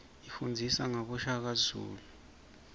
ifundzisa nagabo shaka zulu